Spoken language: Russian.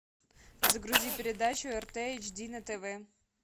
загрузи передачу рт эйч ди на тв